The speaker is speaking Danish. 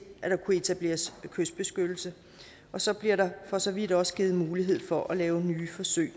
at der kunne etableres kystbeskyttelse så bliver der for så vidt også givet mulighed for at lave nye forsøg